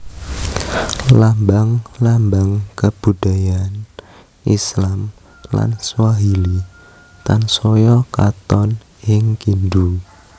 Lambang lambang kabudayan Islam lan Swahili tansaya katon ing Kindu